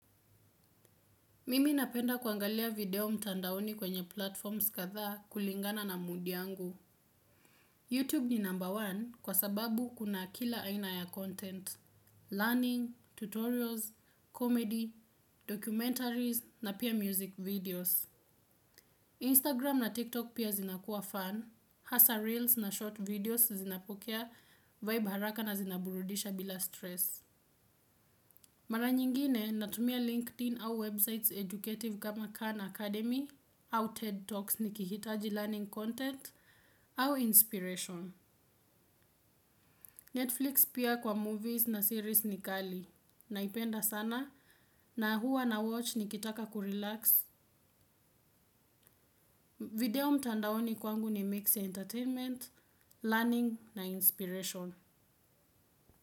Mimi napenda kuangalia video mtandaoni kwenye platforms kadhaa kulingana na mudi angu. YouTube ni number one kwa sababu kuna kila aina ya content. Learning, tutorials, comedy, documentaries na pia music videos. Instagram na TikTok pia zinakua fun. Hasa reels na short videos zinapokea vibe haraka na zinaburudisha bila stress. Mara nyingine natumia LinkedIn au websites educative kama Khan Academy au TED Talks nikihitaji learning content au inspiration. Netflix pia kwa movies na series ni kali. Naipenda sana na huwa na watch nikitaka kurelax. Video mtandaoni kwangu ni mix entertainment, learning na inspiration.